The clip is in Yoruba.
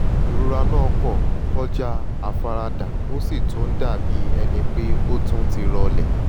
ìrora náà kò kọjá àfaradà ó sì tún ń dàbí ẹni pé ó tún ti rọlẹ̀